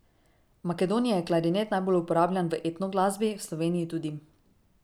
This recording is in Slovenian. V Makedoniji je klarinet najbolj uporabljan v etno glasbi, v Sloveniji tudi.